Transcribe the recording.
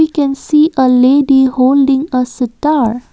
We can see a lady holding a sitar.